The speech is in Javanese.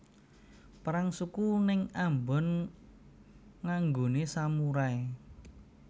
Perang suku ning Ambon nganggone samurai